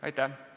Aitäh!